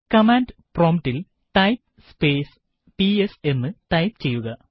command promptൽ type space PS എന്ന് type ചെയ്യുക